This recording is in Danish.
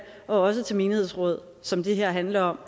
og også til menighedsrådsvalg som det her handler om